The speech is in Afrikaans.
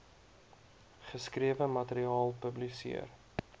geskrewe materiaal publiseer